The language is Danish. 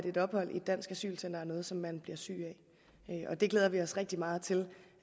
et ophold i et dansk asylcenter er noget som man bliver syg af og det glæder vi os rigtig meget til